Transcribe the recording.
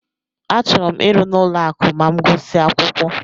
Achọrọ m ịrụ n'ụlọ akụ ma m gusia akwụkwọ.